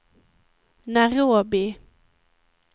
Nairobi